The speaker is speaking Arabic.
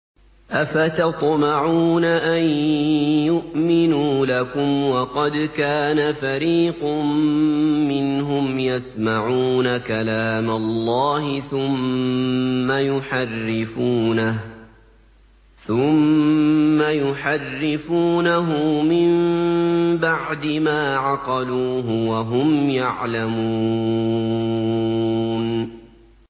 ۞ أَفَتَطْمَعُونَ أَن يُؤْمِنُوا لَكُمْ وَقَدْ كَانَ فَرِيقٌ مِّنْهُمْ يَسْمَعُونَ كَلَامَ اللَّهِ ثُمَّ يُحَرِّفُونَهُ مِن بَعْدِ مَا عَقَلُوهُ وَهُمْ يَعْلَمُونَ